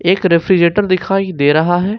एक रेफ्रिजरेटर दिखाई दे रहा है।